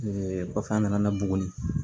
kɔfɛ an nana bugunin